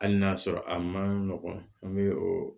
Hali n'a sɔrɔ a ma nɔgɔn an bɛ o